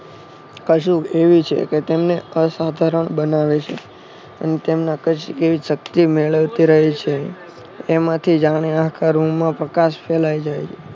કશુંક એવી છે કે તેમને અસાધારણ બનાવે છે અને તેમને કશિંક એવી શક્તિ મેળવતી રહે છે. તેમાંથી જાણે આખા રૂમમાં પ્રકાશ ફેલાય જાય છે.